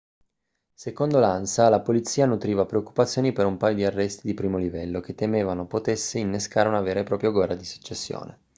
secondo l'ansa la polizia nutriva preoccupazioni per un paio di arresti di primo livello che temevano potessero innescare una vera e propria guerra di successione